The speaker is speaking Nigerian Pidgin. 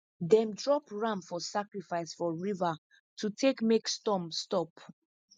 them drop ram for sacrifice for river to take make storm stop